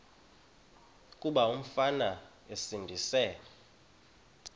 kuba umfana esindise